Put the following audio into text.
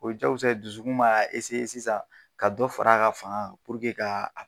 O ye jakosa ye dusukun m'a sisan ka dɔ far'a ka faŋa kan k'a a